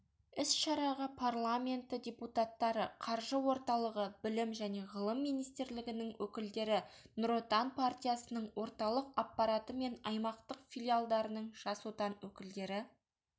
іс-шараға парламенті депутаттары қаржы орталығы білім және ғылым министрлігінің өкілдері нұр отан партиясының орталық аппараты мен аймақтық филиалдарының жас отан өкілдері